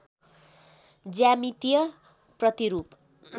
ज्यामितीय प्रतिरूप